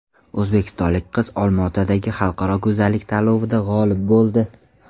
O‘zbekistonlik qiz Olmaotadagi xalqaro go‘zallik tanlovida g‘olib bo‘ldi .